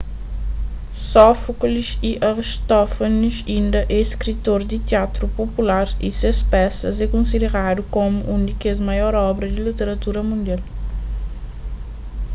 sófoklis y aristófanis inda é skritor di tiatru popular y ses pesas é konsideradu komu un di kes maior obra di literatura mundial